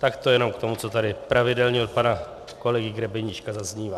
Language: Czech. Tak to jen k tomu, co tady pravidelně od pana kolegy Grebeníčka zaznívá.